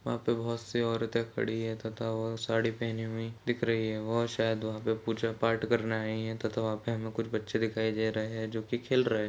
वहां पे बहुत सी औरतें खड़ी है। तथा वह साड़ी पहनी हुई दिख रही है। वह शायद वहां पर पूजा पाठ करने आई है। तथा वहां पर हमें कुछ बच्चे दिखाई दे रहे हैं जोकि खेल रहे है।